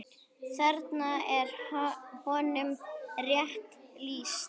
Þarna er honum rétt lýst.